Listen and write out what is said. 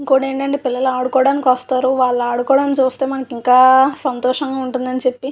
ఇంకోటి ఏంటంటే పిల్లలు ఆడుకోటానికి వస్తారు వాళ్ళు ఆడుకోటం చూస్తే మనకింకా సంతోషంగా ఉంటుందని చెప్పి --